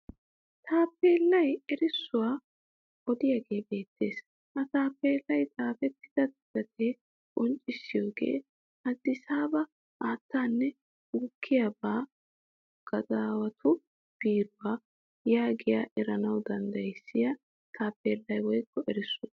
Taappeellay erissuwa odiyaagee beettes. Ha taappeellay xaafettida xuufee qonccissiyoogee addisaaba haattaanne gukkiyaabaa gadaawatu biiruwaa gidiyoogaa eranawu danddayissiya taappeellay woyikko erissuwa.